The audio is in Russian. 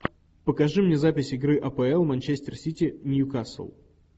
покажи мне запись игры апл манчестер сити ньюкасл